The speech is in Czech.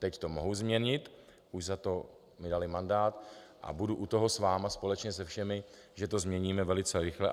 Teď to mohu změnit, už za to mi dali mandát, a budu u toho s vámi společně se všemi, že to změníme velice rychle.